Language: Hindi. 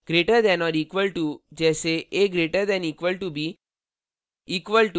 greater than or equal to से अधिक या बराबर: जैसे a> = b